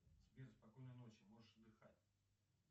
сбер спокойной ночи можешь отдыхать